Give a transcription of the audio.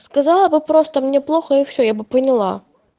сказала бы просто мне плохо и все я бы поняла